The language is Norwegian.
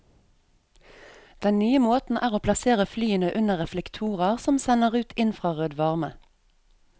Den nye måten er å plassere flyene under reflektorer som sender ut infrarød varme.